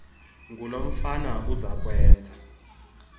ngulo mfana uzakwenza